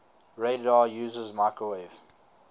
radar uses microwave